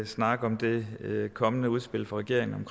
snakke om det kommende udspil fra regeringen